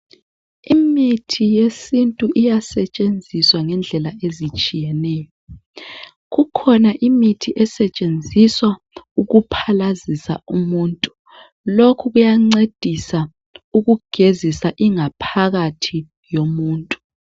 Imithi yesintu iyasetshenziswa ngendlela ezitshiyeneyo. Kukhona imithi esetshenziswa ukuphalazisa umuntu, lokhu kuyancedisa ukugezisa ingaphakathi yomuntu.